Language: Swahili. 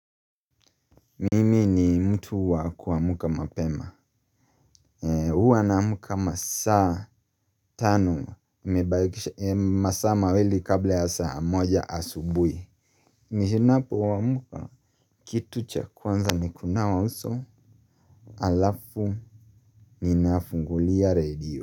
Mimi ni mtu wa kuamka mapema. Huwa naamka masaa tano. Nimebakisha masaa mawili kabla ya saa moja asubuhi. Ninapo amka, kitu cha kwanza ni kunawa uso, halafu ninafungulia radio.